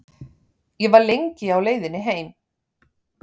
Ég var lengi á leiðinni heim.